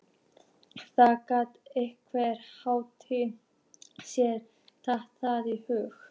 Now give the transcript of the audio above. Það gat enginn látið sér detta það í hug.